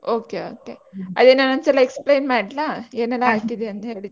Okay okay ಅದೇ ನಾನ್ ಒಂದ್ಸಲ explain ಮಾಡ್ಲಾ ಏನೆಲ್ಲಾ ಹಾಕಿದೆ ಅಂತ ಹೇಳಿದೆ ಅಂತ?